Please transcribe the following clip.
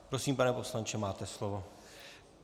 Prosím, pane poslanče, máte slovo.